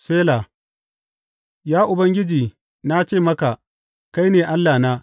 Sela Ya Ubangiji, na ce maka, Kai ne Allahna.